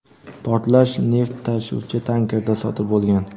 portlash neft tashuvchi tankerda sodir bo‘lgan.